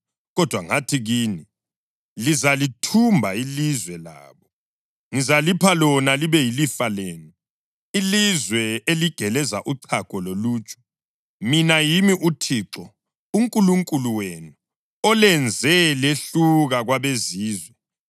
Kodwa ngathi kini, “Lizalithumba ilizwe labo; ngizalipha lona libe yilifa lenu, ilizwe eligeleza uchago loluju.” Mina yimi uThixo uNkulunkulu wenu olenze lehluka kwabezizwe.